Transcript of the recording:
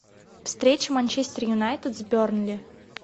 встреча манчестер юнайтед с бернли